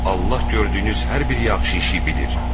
Allah gördüyünüz hər bir yaxşı işi bilir.